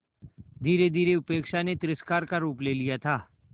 धीरेधीरे उपेक्षा ने तिरस्कार का रूप ले लिया था